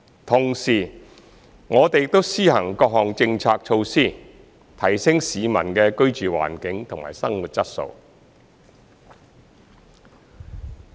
同時，我們亦施行各項政策措施，提升市民的居住環境和生活質素。